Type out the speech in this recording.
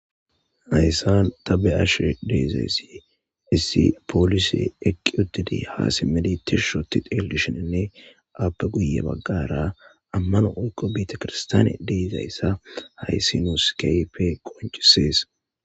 Hayisan ta beashe deiaysi issi polise eqi utiditi ha simutidi tishi otidi xelisheninne afe guye bagara amano woyikko betekirstiyane deizayisa hayisi nusi kehippe qonchises.